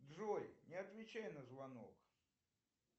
джой не отвечай на звонок